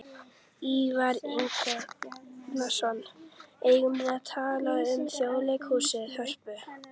Ívar Ingimarsson: Eigum við að tala um Þjóðleikhúsið, Hörpu?